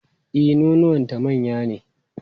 E, nonuwanta manya ne.